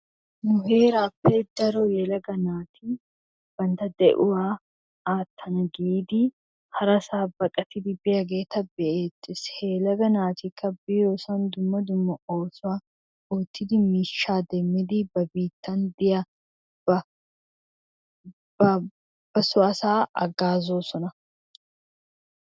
Nu herape daro yelagga natti banttaa de'uwaa attana giddi harasa baqattidi biyagettaa be'ettess, he yelaga natikka biyosanni duma duma osuwa ottidi mishaa demidi ba bittaan de'iyaba, ba soo asaa hagazosonna.